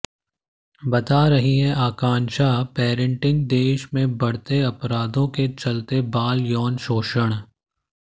बता रही हैं आकांक्षा पेरेंटिंग देश में बढ़ते अपराधों के चलते बाल यौन शोषण